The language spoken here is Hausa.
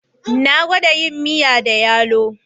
Na gwada yin miya da yalo